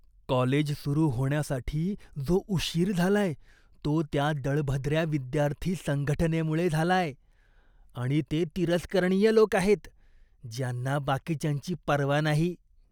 College सुरू होण्यासाठी जो उशीर झालाय तो त्या दळभद्र्या विद्यार्थी संघटनेमुळे झालाय आणि ते तिरस्करणीय लोक आहेत, ज्यांना बाकीच्यांची पर्वा नाही.